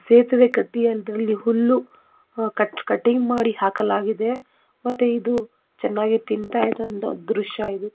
ಸೇತುವೆ ಕಟ್ಟಿದಲ್ಲಿ ಹುಲ್ಲು ಕಟ್ ಕಟ್ಟಿಂಗ್ ಮಾಡಿ ಹಾಕಲಾಗಿದೆ ಮತ್ತೆ ಇದು ಚೆನ್ನಾಗಿ ತಿಂತಾ ಇದು ದೃಶ್ಯ ಇದು.